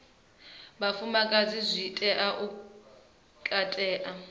vhafumakadzi zwi tea u katela